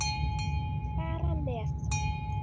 Fara með.